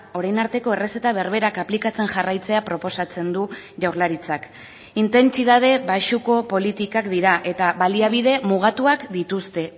orain arteko errezeta berberak aplikatzen jarraitzea proposatzen du jaurlaritzak intentsitate baxuko politikak dira eta baliabide mugatuak dituzte